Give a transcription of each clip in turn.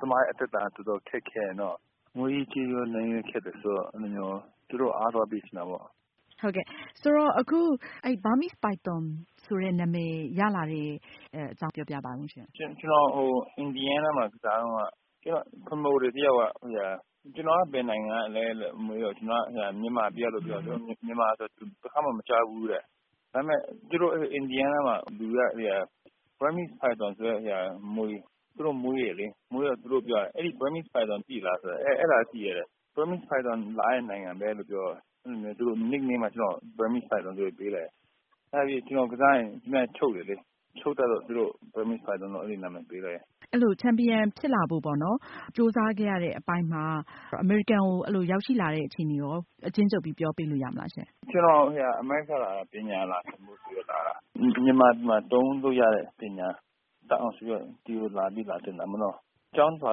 သမားရဲ့ သက်တမ်း တော်တော် ခက်ခဲတယ်နော်။ ငွေရေးကြေးရေးရော နည်းနည်း ခက်တယ်ဆိုတော့ အဲလိုမျိုး သူတို့ အားသွားပေးချင်တာပေါ့။ ဆိုတော့ အခု Burmese Python ဆိုတဲ့ နာမည် ရလာတဲ့ အကြောင်း ပြောပြပါဦးရှင့်။ ကျနော် ဟို အင်ဒီယားနားမှာ ကစားတုန်းက ကျနော့် Promoter တယောက်က ကျနော်က ဘယ်နိုင်ငံကလည်းလို့ မေးတော့ ကျနော်က မြန်မာပြည်ကလို့ ပြောတယ်။ သူက မြန်မာဆိုတာ တခါမှ မကြားဖူးဘူးတဲ့။ ဒါပေမယ့် သူတို့ အင်ဒီယားနားမှာ လူတွေက သိတာ Burmese Python ဆိုတဲ့မြွေ သူတို့ မွေးတယ်လေ။ မွေးတော့ သူတို့ ပြောတာ အဲဒီ Burmese Python သိလားဆိုတော့ အဲ ဒါတော့ သိတယ်တဲ့။ Burmese Python လာတဲ့ နိုင်ငံပဲလို့ ပြောတော့ သူတို့ Nick Name မှာ ကျနော့်ကို Burmese Python ဆိုပြီးတော့ ပေးလိုက်တယ်။ နောက်ပြီး ကျနော် ကစားရင် သူများကို ချုပ်တယ်လေ။ ချုပ်တတ်လို့ ကျနော့ကို Burmese Python လို့ နာမည်ပေးလိုက်တယ်။ အဲလို ချန်ပီယံ ဖြစ်လာဖို့ပေါ့နော် ကြိုးစားခဲ့ရတဲ့ အပိုင်းမှာ အမေရိကန်ကို အဲလို ရောက်ရှိလာတဲ့ အခြေအနေရော အကျဉ်းချုပ်ပြီး ပြောပေးလို့ ရမလားရှင့်။ ကျနော် အမေရိကန်ကို လာတာ ပညာလာသင်ဖို့ ဆိုပြီးတော့လာတာ။ မြန်မာပြည်မှာ သုံးလို့ရတဲ့ ပညာတတ်အောင် ဆိုပြီးတော့ ဒီကို လာသင်တာပေါ့နော။ ကျောင်းလာ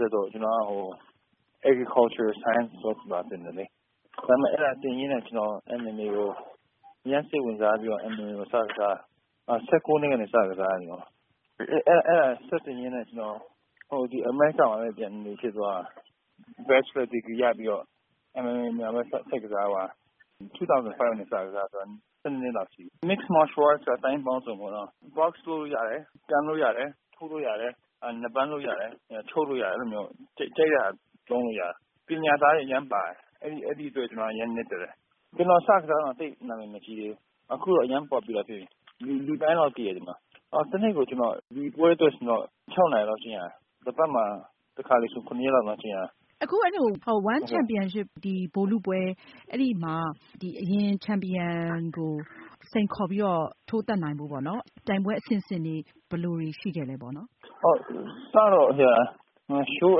တက်တော့ ကျနော်က Agriculture Science လာသင်တယ်လေ။ ဒါပေမဲ့ အဲဒါသင်ရင်းနဲ့ ကျနော် MMA ကို အရမ်းစိတ်ဝင်စားပြီးတော့ MMA ကို စ ကစားတယ်။ ၁၉ နှစ်ကနေပြီးတော့ စကစားတယ် ကျနော်။ အဲဒါ ဆက်သင်ရင်းနဲ့ ကျနော် အမေရိကန်မှာဘဲ ပြန်နေဖြစ်သွားတာ။ Bachelor ဒီဂရီရပြီးတော့ MMA ဘဲ ဆက်ကစားသွားတယ်။ ၂၀၀၅ ကနေပြီးတော့ စကစား တာဆိုတော့ ၁၂ နှစ်လောက်ရှိသွားပြီ။ Mix Martial Arts ဆိုတာ သိုင်းပေါင်းစုံ ပေါ့နော်။Box ထိုးလို့ရတယ်။ ကန်လို့ရတယ်၊ ထိုးလို့ရတယ်။ နဘမ်းလုပ်လို့ရတယ်။ ချုပ်လို့ရတယ်။ အဲလိုမျိုး ကြိုက်တဲ့ဟာ သုံးလို့ရတယ်။ ပညာသားလည်း အရမ်းပါတယ်။ အဲဒီအတွက် ကျနော်က အရမ်း နှစ်သက်တယ်။ ကျနော် စကစားတုန်းက သိပ်နာမည် မကြီးသေးဘူး။ အခုတော့ အရမ်း Popular ဖြစ်ပြီ။ လူတိုင်းလောက် သိတယ် ဒီမှာ။ တနေ့ကို ဒီပွဲအတွက် ကျနော် ၆ နာရီလောက် ကျင့်ရတယ်။တပတ်မှာ တခါတလေဆို ၇ ရက်လောက် တောင် ကျင့်ရတယ်။ အခု အဲလို One Champion ဗိုလ်လုပွဲ အဲဒီမှာ ဒီအရင် ချန်ပီယံကို စိန်ခေါ်ပြီးတော့ ထိုးသတ်နိုင်ဖို့ပေါ့နော် ပြိုင်ပွဲ အဆင့်ဆင့်တွေ ဘယ်လိုတွေ ရှိခဲ့လဲ ပေါ့နော်။ ဟုတ် အစကတော့ ရှိုး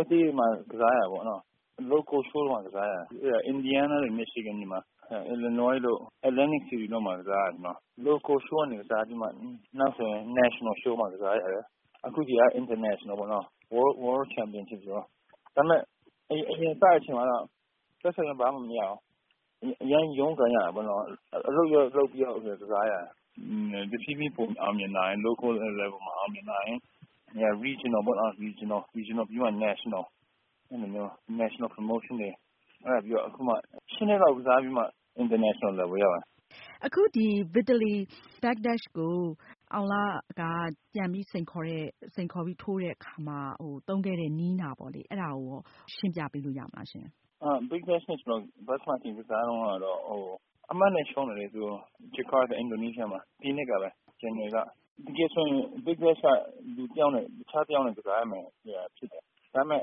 အသေးတွေမှာ ကစားရတာပေါ့နော။ Local Show မှာ ကစားရတယ်။ အင်ဒီယားနားတို့မီရှီဂန်တွေမှာ နောက် အီလီနွိုက်တို့ အတ္တလန်တစ်စီးတီးတို့မှာ ကစားတယ် ကျနော်။ Local Show မှာ ကစားပြီးတော့ နောက်ဆို National Show မှာ ကစားရတယ်။ အခုဒါက International ပေါ့နော။ World Champion ဖြစ်ပြီပေါ့။ ဒါပေမယ့် အရင် စတဲ့ အချိန်မှာတော့ ပိုက်ဆံလည်း ဘာမှ မရဘူး။ အရမ်းကြီး ရုန်းကန်ရတာပေါနော်။ အလုပ်လည်း လုပ်ပြီးတော့ ကစားရတယ်။ တဖြည်းဖြည်း ပိုအောင်မြင်လာတယ်။ Local Level မှာ အောင်မြင်လာတယ်။ Regional ပေါ့နော် Regional ပြီးမှ National။ အဲလိုမျိုး Nationalပြိုင်ပွဲတွေ အဲဒါပြီးတော့ အခုမှ ၈ နှစ်လောက် ကစားပြီးမှ International Level ကိုရောက်တာ။ အခုဒီ Vitaly Bigdash ကို အောင်လက ပြန်ပြီး စိန်ခေါ်တဲ့ စိန်ခေါ်ပြီး ထိုးတဲ့ အခါမှာ သုံးခဲ့တဲ့ နည်းနာပေါ့လေ။ အဲဒါကိုလည်း ရှင်းပြပေးလို့ ရမလားရှင့်။ Bigdash နဲ့ ကျနော် အရင်တခေါက် ကစားတုန်း ကတော့ အမှတ်နဲ့ ရှုံးတယ်လေ သူ့ကို။ဂျကာတာ အင်ဒိုနီးရှားမှာ။ ဒီနှစ်ကပဲ ဇန်နဝါရီလက။ Bigdash က လူတယောက်နဲ့ တခြားတယောက်နဲ့ ကစားရမှာ ဖြစ်တယ်။ ဒါပေမယ့်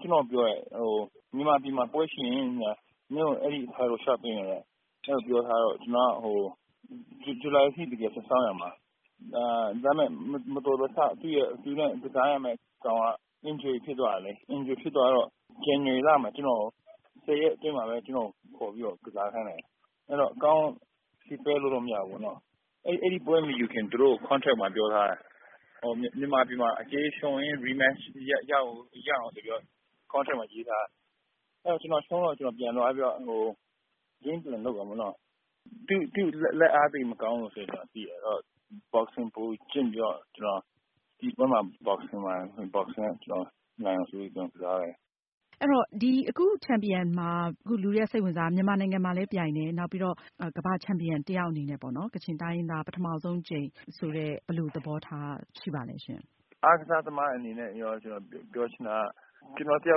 ကျနော့ကို ပြောတယ် မြန်မာပြည်မှာ ပွဲရှိရင် မင်းကို အဲဒီပွဲကို လေ ျှာ့ပေးမယ်တဲ့။ အဲလိုပြောထားတော့ ကျနော်က ဇူလိုင်အထိ တကယ်စောင့်ရမှာ။ ဒါပေမယ့် မတော်တဆ သူနဲ့ ကစားရမယ့် ကောင်က Injury ဖြစ်သွားတယ်လေ။ Injury ဖြစ်သွားတော့ ဇန်နဝါရီလမှာ ကျနော် ၁၀ ရက် အတွင်းမှာပဲ ကျနော့်ကို ခေါ်ပြီးတော့ ကစားခိုင်းတယ်။ အဲတော့ ကောင်းကောင်း Prepare လုပ်လို့ မရဘူးပေါ့နော။ အဲဒီပွဲ မယူခင် သူတို့ Contract မှာ ပြောထားတယ် မြန်မာပြည်မှာ အကယ်၍ ရှုံးရင် Rematch ရအောင်ဆိုပြီးတော့ Contract မှာ ရေးထားတယ်။ အဲတော့ ကျနော် ရှုံးတော့ ကျနော် ပြန်သွားပြီးတော့ Plan လုပ်တာပေါ့နော်။ သူ့လက်အား သိပ်မကောင်းလို့ ဆိုတာ ကျနော်သိတယ်။ ဆိုတော့ Boxing ပိုကျင့်ပြီးတော့ ကျနော် ဒီပွဲမှာ Boxing နဲ့ ကျနော် နိုင်အောင်ဆိုပြီးတော့ ကျနော် ကစားလိုက်တယ်။ အဲတော့ ဒီ အခု ချန်ပီယံမှာ အခု လူတွေက စိတ်ဝင်စားတာက မြန်မာနိုင်ငံမှာလည်း ပြိုင်တယ်၊ နောက်ပြီးတော့ ကမ္ဘာ့ ချန်ပီယံ တယောက်အနေနဲ့ပေါ့နော် ကချင်တိုင်းရင်းသား ပထမဆုံး အကြိမ် ဆိုတဲ့ ဘယ်လို သဘောထား ရှိပါလဲရှင့်။ အားကစား သမား အနေနဲ့ရော ကျနော် ပြောချင်တာက ကျနော် တယော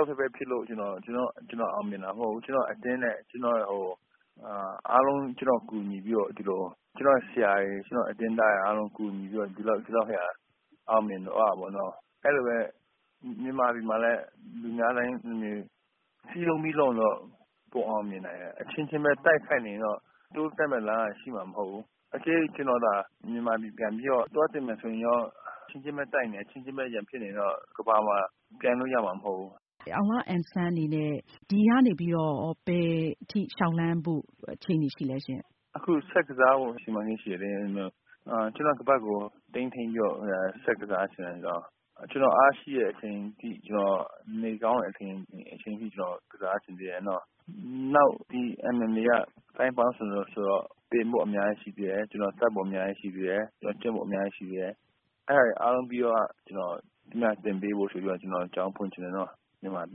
က်တည်းဘဲ ဖြစ်လို့ ကျနော် အောင်မြင်တာမဟုတ်ဘူး။ ကျနော့် အသင်းနဲ့ ကျနော့် ဟို အားလုံး ကျနော့် ကူညီပေးလို့ ဒီလို ကျနော့်ဆရာတွေ ကျနော့် အသင်းသားတွေ အားလုံး ကူညီလို့ ကျနော် အောင်မြင်သွားတာပေါ့နော။ အဲလိုဘဲ မြန်မာနိုင်ငံမှာလည်း လူများ စည်းလုံးပြီး လုပ်ရင် ပိုအောင်မြင်နိုင်တယ်။ အချင်းချင်းပဲ တိုက်နေခိုက်နေရင်တော့ တိုးတက်မယ့် အလားအလာ ရှိမှာ မဟုတ်ဘူး။ အကယ်၍ ကျနော်သာ မြန်မာပြည်ပြန်ပြီးတော့ သွားသင်မယ်ဆိုရင်ရော အချင်းချင်းပဲတိုက်နေမယ် အချင်းချင်းပဲ ရန်ဖြစ်နေရင်တော့ ကမ္ဘာမှာ ပြိုင်လို့ရမှာ မဟုတ်ဘူး။ အောင်လအန်ဆန် အနေနဲ့ရော ဒီကနေ ဘယ်ထိလေ ျှာက်လှမ်းဖို့ အခြေအနေ ရှိလဲရှင့်။ အခု ဆက်ကစားဖို့ စီမံကိန်း ရှိတယ်လေ။ ကျနော့ ခါးပတ်ကို ထိမ်းသိမ်းပြီးတော့ ဆက်ကစားချင်တယ်။ ကျနော် အားရှိတဲ့ အချိန်အထိ ကျနော် နေကောင်းတဲ့ အချိန်အထိ ကျနော် ကစားချင်သေးတယ်နော။ နောက ်ဒီ MMA က သိုင်းပေါင်းစုံဆိုတော့ သင်ဖို့ အများကြီး ရှိသေးတယ်။ ကျနော် တတ်ဖို့ အများကြီးရှိသေးတယ်။ ကျနော် ကျင့်ဖို့ အများကြီးရှိသေးတယ်။ အဲဒါတွေအားလုံးပြီးမှ သူများကို သင်ပေးဖို့ဆိုပြီးတော့ ကျနော် ကျောင်းဖွင့်ချင်တယ်နော မြန်မာပြ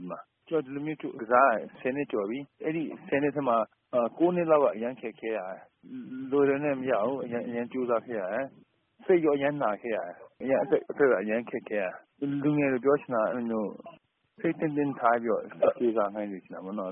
ည်မှာ။ ဒီလိုမျိုး ကစားတာ ၁၀ နှစ်ကျော်ပြီ။ ၁၀ နှစ်ထဲမှာ ၉ နှစ်လောက်က အရမ်း ခက်ခဲတာပဲ။ လွယ်လွယ်နဲ့ မရဘူး။ အရမ်းကြိုးစား ခဲ့ရတယ်။ စိတ်ရော အရမ်းနာခဲ့ရတယ်။ အသက်က အရမ်းခက်ခဲတာ။ လူငယ်တွေကို ပြောချင်တာကတော့ အဲလိုမျိုး စိတ် တင်းတင်းထား ပြီးတော့ ကြိုးစား ခိုင်းစေချင်တာပေါ့နော်